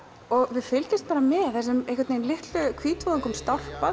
við fylgjumst með þessum litlu hvítvoðungum stálpast